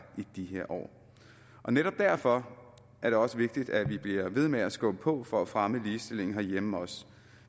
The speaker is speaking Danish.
i her år netop derfor er det også vigtigt at vi bliver ved med at skubbe på for at fremme ligestillingen herhjemme også